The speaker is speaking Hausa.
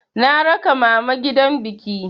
Na raka mama gidan biki.